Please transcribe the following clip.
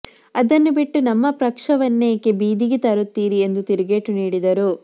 ಅದನ್ನು ಬಿಟ್ಟು ನಮ್ಮ ಪಕ್ಷವನ್ನೇಕೆ ಬೀದಿಗೆ ತರುತ್ತೀರಿ ಎಂದು ತಿರುಗೇಟು ನೀಡಿದರು